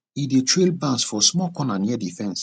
e dey trail bans for small corner near the fence